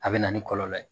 A bɛ na ni kɔlɔlɔ ye